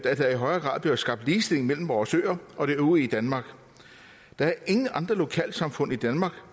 at der i højere grad bliver skabt ligestilling mellem vores øer og det øvrige danmark der er ingen andre lokalsamfund i danmark